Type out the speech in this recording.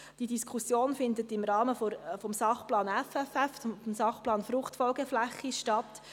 Diese Diskussion findet im Rahmen des SP FFF statt.